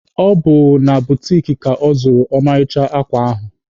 Ọ bụ na butiki ka ọ zụrụ ọmarịcha akwa ahụ.